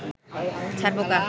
ছারপোকা